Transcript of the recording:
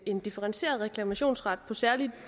en differentieret reklamationsret på særlig